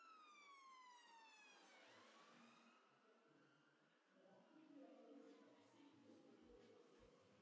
Erla Björg Gunnarsdóttir, fréttamaður: Og ætlið þið að hlaupa saman í einum hóp eða?